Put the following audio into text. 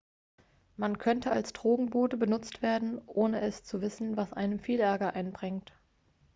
man könnte als drogenbote benutzt werden ohne es zu wissen was einem viel ärger einbringt